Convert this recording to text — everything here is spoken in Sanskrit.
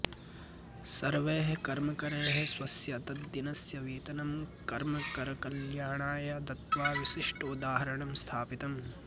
सर्वैः कर्मकरैः स्वस्य तद्दिनस्य वेतनं कर्मकरकल्याणाय दत्त्वा विशिष्टोदाहरणं स्थापितम्